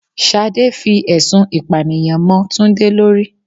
Ṣadé fi ẹ̀sùn ìpànìyàn mo Túndé lórí.